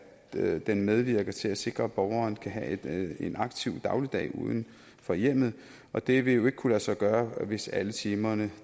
at den medvirker til at sikre at borgeren skal have en aktiv dagligdag uden for hjemmet og det vil jo ikke kunne lade sig gøre hvis alle timerne